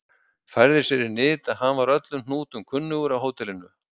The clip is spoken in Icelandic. Færði sér í nyt að hann var öllum hnútum kunnugur á hótelinu.